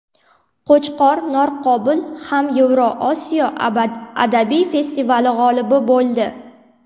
Qo‘chqor Norqobil ham Yevrosiyo adabiy festivali g‘olibi bo‘ldi.